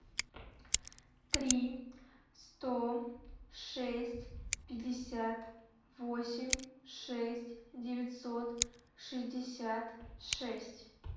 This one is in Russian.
три сто шесть пятьдесят восемь шесть девятьсот шестьдесят шесть